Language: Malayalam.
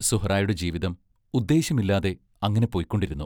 സുഹ്റായുടെ ജീവിതം ഉദ്ദേശ്യമില്ലാതെ അങ്ങനെ പൊയ്‌ക്കൊണ്ടിരുന്നു .